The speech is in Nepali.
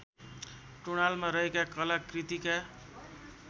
टुँडालमा रहेका कलाकृतिका